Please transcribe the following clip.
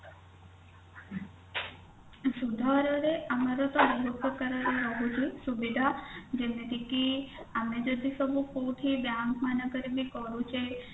ସୁଧର ହାରରେ ଆମର ବହୁତ ପ୍ରକାରର ରହୁଛି ସୁବିଧା ଯେମିତି କି ଆମେ ଯଦି ସବୁ କୋଉଠି bank ମାନଙ୍କରେ ବି କରୁଛେ